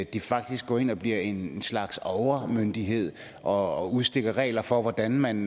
de faktisk går ind og bliver en slags overmyndighed og udstikker regler for hvordan man